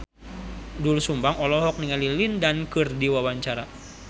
Doel Sumbang olohok ningali Lin Dan keur diwawancara